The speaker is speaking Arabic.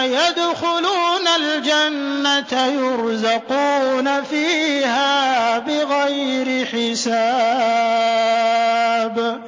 يَدْخُلُونَ الْجَنَّةَ يُرْزَقُونَ فِيهَا بِغَيْرِ حِسَابٍ